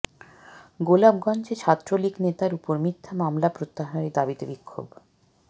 গোলাপগঞ্জে ছাত্রলীগ নেতার উপর মিথ্যা মামলা প্রত্যাহারের দাবীতে বিক্ষোভ